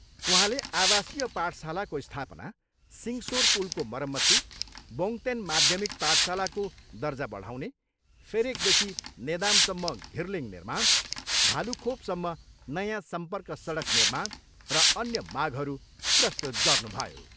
उहाँले आवाशीय पाठशालाको स्थापना, सिङसोर पुलको मरम्मती, बोङतेन माध्यमिक पाठशालाको दर्जा बढाउने, फेरेकदेखि नेदामसम्म घिर्लिङ निर्माण, भालुखोपसम्म नयाँ सम्पर्क सडक निर्माण र अन्य मागहरू प्रस्तुत गर्नुभयो।